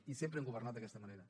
i sempre hem governat d’aquesta manera